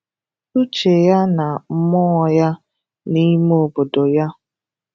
Ụché yá nà mmụọ yá n’ime obodo yá